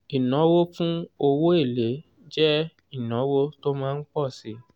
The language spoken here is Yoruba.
ìnáwó fún owó èlé jẹ́ ìnáwó tó má ń pọ̀ síi.